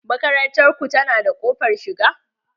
Makarantar ku ta na da ƙofar shiga?